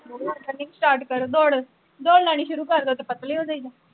running start ਕਰੋ ਦੋੜ, ਦੋੜ ਲਾਉਣੀ ਸ਼ੁਰੂ ਕਰਦੋ ਤੇ ਪਤਲੇ ਹੋ ਜਾਈਦਾ